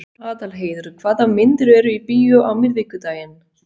Aðalheiður, hvaða myndir eru í bíó á miðvikudaginn?